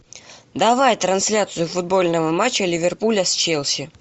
давай трансляцию футбольного матча ливерпуля с челси